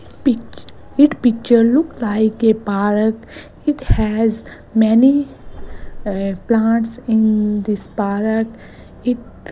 pic it picture look like a park it has many plants in this park it --